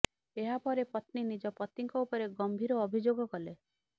ଏହା ପରେ ପତ୍ନୀ ନିଜ ପତିଙ୍କ ଉପରେ ଗମ୍ଭୀର ଅଭିଯୋଗ କଲେ